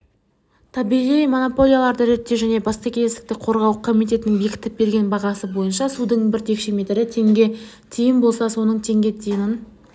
табиғи монополияларды реттеу және бәсекелестікті қорғау комитетінің бекітіп берген бағасы бойынша судың бір текше метрі теңге тиын болса соның теңге тиынын